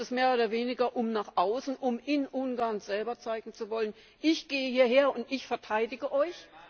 Ist es mehr oder weniger, um nach außen, um in Ungarn selbst zu zeigen, ich gehe hierher und ich verteidige euch?